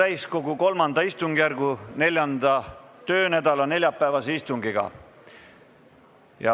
Alustame Riigikogu täiskogu III istungjärgu 4. töönädala neljapäevast istungit.